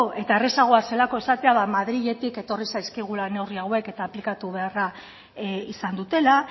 eta errazagoa zelako esatea madriletik etorri zaizkigula neurri hauek eta aplikatu beharra izan dutela